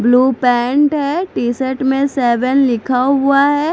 Blue pant है t-shirt में seven लिखा हुआ है।